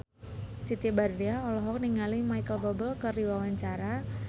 Siti Badriah olohok ningali Micheal Bubble keur diwawancara